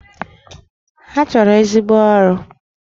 Ha chọrọ ezigbo ụlọ ọrụ